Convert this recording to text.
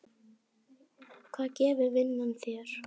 Hvað gefur vinnan þér?